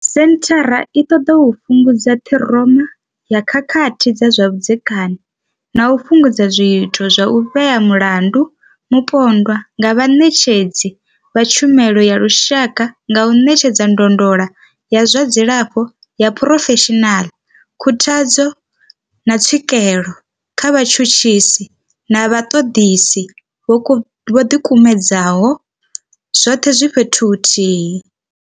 Senthara i ṱoḓa u fhungudza ṱhiroma ya khakhathi dza zwa vhudzekani na u fhungudza zwiito zwa u vhea mulandu mupondwa nga vhaṋetshedzi vha tshumelo ya lushaka nga u ṋetshedza ndondolo ya zwa dzilafho ya phurofeshinala, khuthadzo, na tswikelo kha vhatshutshisi na vhaṱoḓisi vho ḓikumedzaho, zwoṱhe zwi fhethu huthihi.